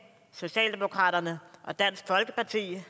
socialdemokratiet og dansk folkeparti